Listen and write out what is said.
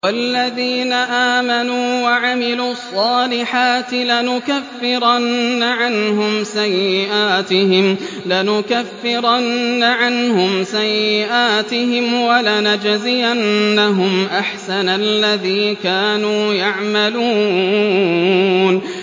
وَالَّذِينَ آمَنُوا وَعَمِلُوا الصَّالِحَاتِ لَنُكَفِّرَنَّ عَنْهُمْ سَيِّئَاتِهِمْ وَلَنَجْزِيَنَّهُمْ أَحْسَنَ الَّذِي كَانُوا يَعْمَلُونَ